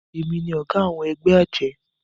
èmi ní oga àwọn egbé ajé